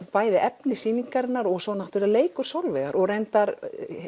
bæði efni sýningarinnar og svo leikur Sólveigar og reyndar